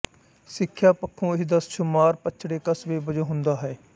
ਸਿੱਖਿਆ ਪੱਖੋਂ ਇਸ ਦਾ ਸ਼ੁਮਾਰ ਪੱਛੜੇ ਕਸਬੇ ਵਜੋਂ ਹੁੰਦਾ ਹੈ